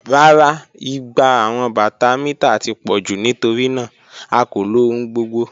Rara, igba awọn bata mita ti pọ ju nitorinaa a ko lo ohun gbogbo.